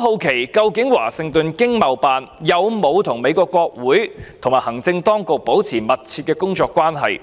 好奇，究竟華盛頓經貿辦有否與美國國會和行政當局保持密切的工作關係？